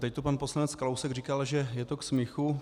Teď tu pan poslanec Kalousek říkal, že je to k smíchu.